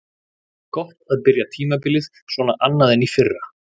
Gott að byrja tímabilið svona annað en í fyrra.